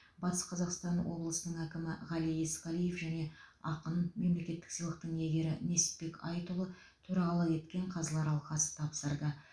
батыс қазақстан облысының әкімі ғали есқалиев және ақын мемлекеттік сыйлықтың иегері несіпбек айтұлы төрағалық еткен қазылар алқасы тапсырды